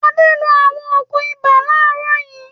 Adé lo àwọn òògùn ibà láàárọ̀ yìí.